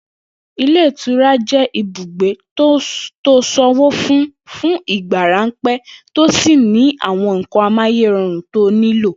Ilé ìtura jé̩ ibùgbe to san owó fún fún ìgbà ráńpé̩ tó sì ní àwo̩n nǹkan amáyéro̩rùn to nílò